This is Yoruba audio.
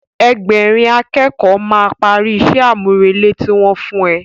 Ẹgbẹ̀rin a kẹ́kọ̀ọ́ máa parí ìṣe àmúrelé tí wọ́n fún ẹ